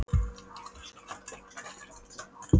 Var hún kannski göldrótt eftir allt saman?